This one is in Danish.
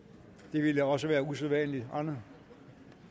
det ville da også være usædvanligt andet